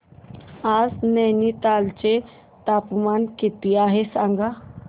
आज नैनीताल चे तापमान किती आहे सांगा